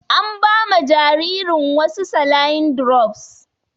An ba ma jaririn wasu saline drops.